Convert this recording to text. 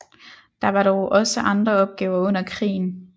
Der var dog også andre opgaver under krigen